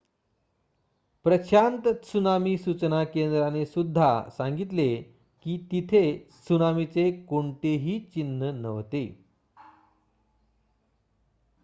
Prashant tsunami सूचना केंद्राने सुद्धा सांगितले की तिथे त्सुनामीचे कोणतेही चिन्ह नव्हते